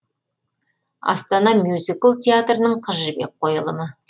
астана мюзикл театрының қыз жібек қойылымы